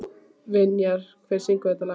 Vinjar, hver syngur þetta lag?